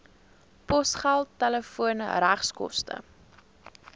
posgeld telefoon regskoste